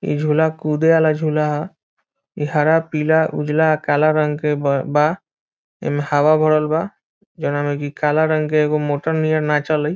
इ झूला कूदे वाला झूला ह इ हरा पीला उजला काला रंग के ब बा एम्मे हवा भरल बा जोवना में के काला रंग के एगो मोटर नियर नाचेलइ।